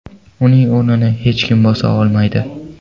Uning o‘rnini hech kim bosa olmaydi.